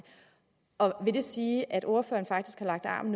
vil det sige at ordføreren faktisk har lagt arm